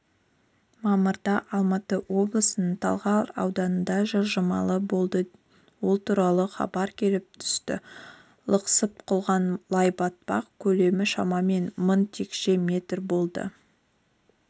мамырда алматы облысының талғар ауданында жылжыма болды ол туралы хабар келіп түсті лықсып құлаған лай-батпақ көлемі шамамен мың текше метр болды